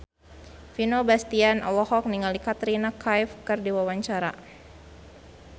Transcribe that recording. Vino Bastian olohok ningali Katrina Kaif keur diwawancara